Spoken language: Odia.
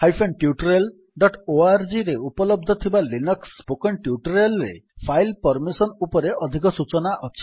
httpspoken tutorialorgରେ ଉପଲବ୍ଧ ଥିବା ଲିନକ୍ସ୍ ସ୍ପୋକେନ୍ ଟ୍ୟୁଟୋରିଆଲ୍ ରେ ଫାଇଲ୍ ପର୍ମିସନ୍ ଉପରେ ଅଧିକ ସୂଚନା ଅଛି